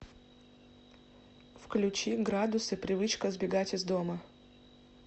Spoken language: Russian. включи градусы привычка сбегать из дома